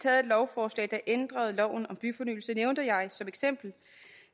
lovforslag der ændrede loven om byfornyelse nævnte jeg som eksempel